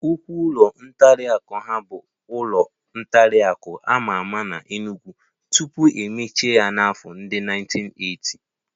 Nnukwu ụlọ nkwari akụ ahụ bụ ụlọ nkwari akụ a ma ama n'Enugwu tupu e mechie ya n'afọ ndị 1980